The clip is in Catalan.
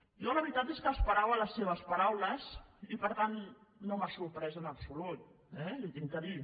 jo la veritat és que esperava les seves paraules i per tant no m’ha sorprès en absolut eh li ho he de dir